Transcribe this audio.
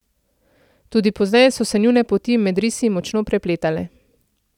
Tudi pozneje so se njune poti med risi močno prepletale.